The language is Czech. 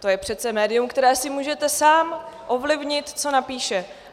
To je přece médium, které si můžete sám ovlivnit, co napíše.